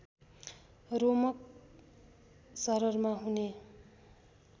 रोमक शररमा हुने